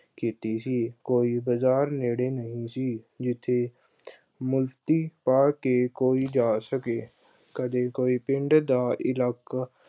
ਕੀਤੀ ਸੀ, ਕੋਈ ਬਾਜ਼ਾਰ ਨੇੜੇ ਨਹੀਂ ਸੀ, ਜਿੱਥੇ ਅਹ ਵਰਦੀ ਪਾ ਕੇ ਕੋਈ ਜਾ ਸਕੇ। ਕਦੇ ਕੋਈ ਪਿੰਡ ਦਾ ਇਲਾਕੇ